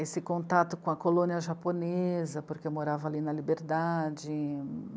Esse contato com a colônia japonesa, porque eu morava ali na Liberdade.